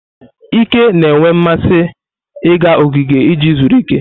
Ike na-enwe mmasị ịga ogige iji zuru ike.